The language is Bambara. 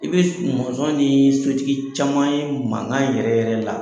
I bis mɔnsɔn nii sotigi caman ye mankan yɛrɛ yɛrɛ la